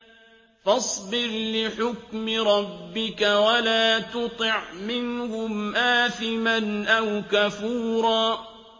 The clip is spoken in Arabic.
فَاصْبِرْ لِحُكْمِ رَبِّكَ وَلَا تُطِعْ مِنْهُمْ آثِمًا أَوْ كَفُورًا